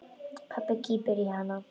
Pabbi kippir í hana.